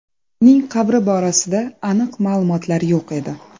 Uning qabri borasida aniq ma’lumotlar yo‘q edi.